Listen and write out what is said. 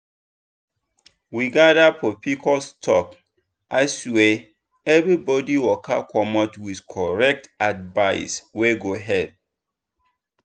we gather for pcos talk aswear everybody waka commot with correct advice wey go help.